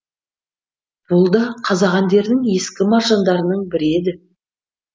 бұл да қазақ әндерінің ескі маржандарының бірі еді